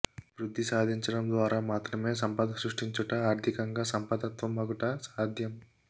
వృద్ధి సాధించటం ద్వారా మాత్రమే సంపద సృష్టించుట ఆర్థికంగా సంపద్వంత మగుట సాధ్యం